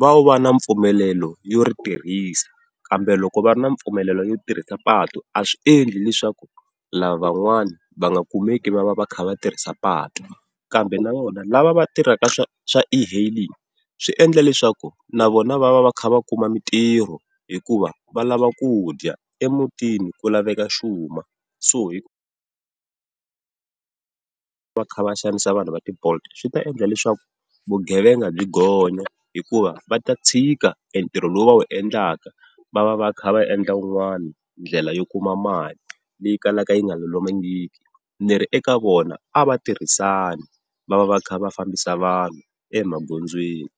vo va na mpfumelelo yo ri tirhisa. Kambe loko va ri na mpfumelelo yo tirhisa patu a swi endli leswaku lavan'wana va nga kumeki va va va kha va tirhisa patu, kambe na vona lava va tirhaka swa, swa e-hailing swi endla leswaku na vona va va va kha va kuma mitirho hikuva va lava ku dya emutini ku laveka xuma. So hi ku va va kha va xanisa vanhu va ti-bolt-iswi ta endla leswaku vugevenga byi gonya hikuva va ta tshika entirho lowu va wu endlaka va va va kha va endla wun'wana ndlela yo kuma mali leyi kalaka yi nga lulamangiki ni ri eka vona a va tirhisana va va va kha va fambisa vanhu emagondzweni.